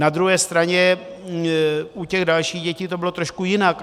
Na druhé straně u těch dalších dětí to bylo trošku jinak.